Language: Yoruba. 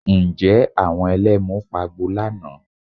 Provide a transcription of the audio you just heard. Ǹjẹ́ àwọn Ẹlẹ́mu pagbo lánàá?